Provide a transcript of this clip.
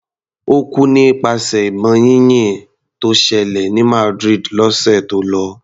Ó kú nípasẹ̀ ìbọn yínyìn tó ṣẹlẹ̀ ní Madrid lọ́sẹ̀ tó lọ.